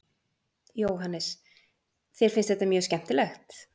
Jóhannes: Þér finnst þetta mjög skemmtilegt?